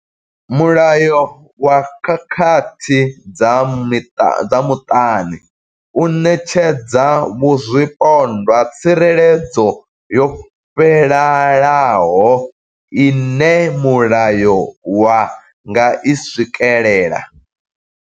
Mulayo wa khakhathi dza muṱani u ṋetshedza zwipondwa tsireledzo yo fhelelaho ine mulayo wa nga i swikela.